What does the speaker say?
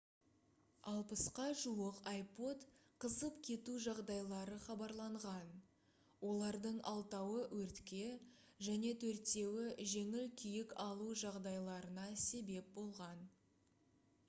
60-қа жуық ipod қызып кету жағдайлары хабарланған олардың алтауы өртке және төртеуі жеңіл күйік алу жағдайларына себеп болған